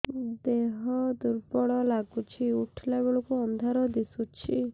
ଦେହ ଦୁର୍ବଳ ଲାଗୁଛି ଉଠିଲା ବେଳକୁ ଅନ୍ଧାର ଦିଶୁଚି